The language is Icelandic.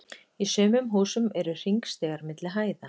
Í sumum húsum eru hringstigar milli hæða.